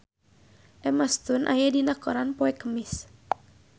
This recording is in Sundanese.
Emma Stone aya dina koran poe Kemis